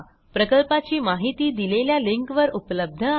प्रकल्पाची माहिती दिलेल्या लिंकवर उपलब्ध आहे